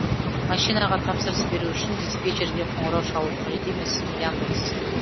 машинаға тапсырыс беру үшін диспетчерге қоңырау шалу қажет емес яндекс